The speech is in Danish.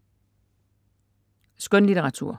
Skønlitteratur